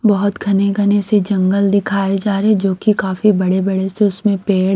बहुत घने-घने से जंगल दिखाए जा रहे हैंजो कि काफी बड़े-बड़े से उसमें पेड़--